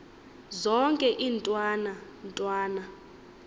zonke iintwana ntwana